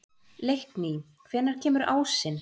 Leikný, hvenær kemur ásinn?